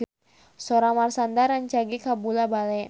Sora Marshanda rancage kabula-bale